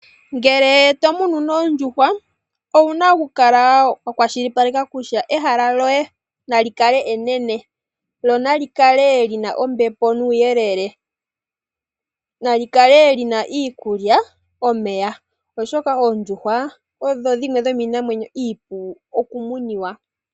Ngele tomunu oondjuhwa, owuna okukala wa kwashilipaleka kutya ehala lyoye nali kale enene lyo nali kale lina ombepo nuuyelele. Nali kale lina iikulya, nomeya oshoka oondjuhwa odho dhimwe dhomiinamwenyo iipu okumuna.